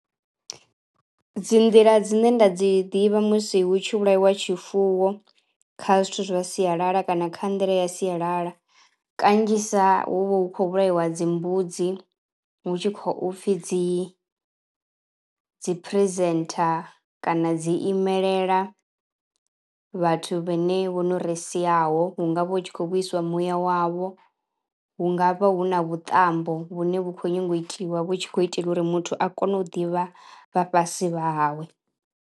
Dzi nḓila dzine nda dzi ḓivha musi hu tshi vhulaiwa tshifuwo kha zwithu zwa sialala kana kha nḓila ya sialala kanzhisa hu vha hu khou vhulaiwa dzi mbudzi hu tshi khou upfhi dzi dzi presenter kana dzi imelela vhathu vhane vho no ri siaho. Hungavha hu tshi khou vhuiswa muya wavho, hu nga vha hu na vhuṱambo vhune vhu khou nyango u itiwa vhu tshi khou itelwa uri muthu a kone u ḓivha vha fhasi vha hawe.